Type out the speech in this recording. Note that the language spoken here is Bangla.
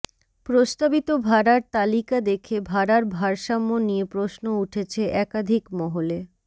প্রস্তাবিত ভাড়ার তালিকা দেখে ভাড়ার ভারসাম্য নিয়ে প্রশ্ন উঠেছে একাধিক মহলে